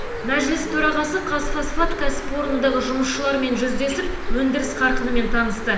мәжіліс төрағасы қазфосфат кәсіпорнындағы жұмысшылармен жүздесіп өндіріс қарқынымен танысты